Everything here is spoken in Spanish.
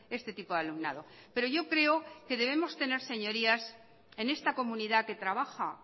este tipo de alumnado pero yo creo que debemos tener señorías en esta comunidad que trabaja